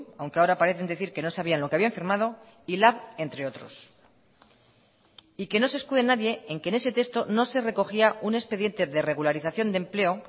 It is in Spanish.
aunque ahora parecen decir que no sabían lo que habían firmado y lab entre otros y que no se escude nadie en que en ese texto no se recogía un expediente de regularización de empleo